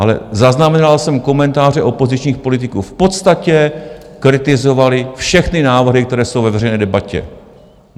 Ale zaznamenal jsem komentáře opozičních politiků, v podstatě kritizovali všechny návrhy, které jsou ve veřejné debatě.